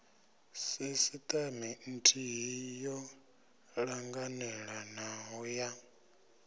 sisteme nthihi yo ṱanganelanaho ya